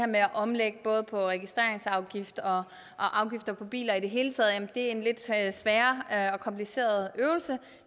med at omlægge både registreringsafgift og afgifter på biler i det hele taget er en lidt sværere og kompliceret øvelse